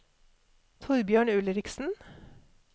Torbjørn Ulriksen